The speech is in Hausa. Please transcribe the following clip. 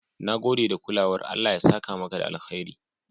Na gode da kulawar, Allah ya saka maka da alheri"